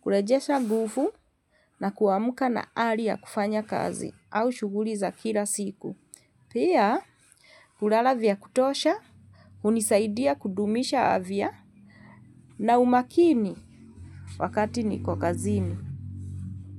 Kurejesha nguvu na kuamka na ari ya kufanya kazi au shuguli za kila siku. Pia, hulala vya kutosha, hunisaidia kudumisha afya na umakini wakati niko kazini.